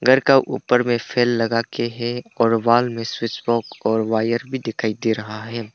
घर का ऊपर में फैन लगाके है और वाल में स्विच बॉक्स और वायर भी दिखाई दे रहा है।